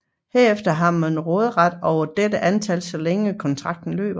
Herefter har man råderet over dette antal så længe kontrakten løber